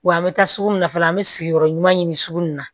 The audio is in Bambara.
Wa an bɛ taa sugu min na fɔlɔ an bɛ sigiyɔrɔ ɲuman ɲini sugu in na